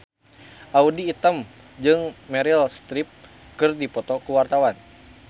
Audy Item jeung Meryl Streep keur dipoto ku wartawan